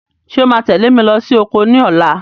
Ṣé o máa tẹ̀lé mi lọ sí oko ní ọ̀la?